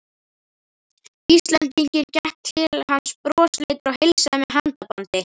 Íslendinginn, gekk til hans brosleitur og heilsaði með handabandi.